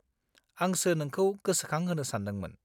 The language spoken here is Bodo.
आंसो नोंखौ गोसोखांहोनो सान्दोंमोन।